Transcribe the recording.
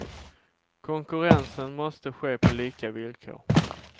Konkurrensen måste ske på lika villkor.